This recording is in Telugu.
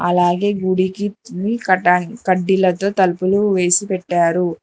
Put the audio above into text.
అలాగే గుడికి కడ్డీలతో తలుపులు వేసి పెట్టారు.